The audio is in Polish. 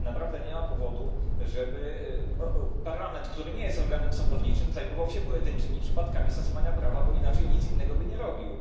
Naprawdę nie ma powodu, żeby Parlament, który nie jest organem sądowniczym, zajmował się pojedynczymi przypadkami stosowania prawa, bo inaczej nic innego by nie robił.